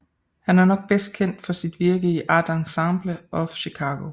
Han er nok bedst kendt for sit virke i Art Ensemble of Chicago